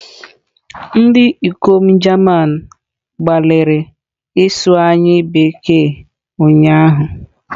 Ndị ikom German gbalịrị ịsụ anyị Bekee ụnyahụ.